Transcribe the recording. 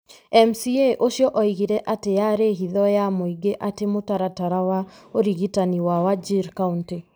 MCA ũcio oigire atĩ yaarĩ hitho ya mũingĩ atĩ mũtaratara wa ũrigitani wa Wajir kaunĩ,